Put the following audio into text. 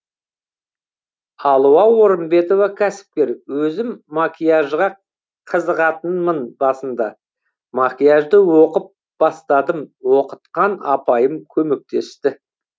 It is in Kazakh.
алуа орымбетова кәсіпкер өзім макияжға қызығатынмын басында макияжды оқып бастадым оқытқан апайым көмектесті